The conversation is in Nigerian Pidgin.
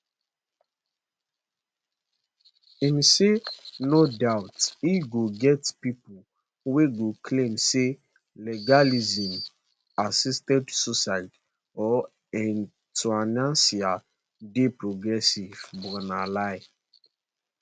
im say no doubt e go get pipo wey go claim say legalising assisted suicide or euthanasia dey progressive but na lie